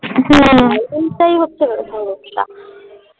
এটাই হচ্ছে main সমস্যা